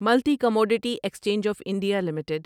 ملتی commodity exchange of India limited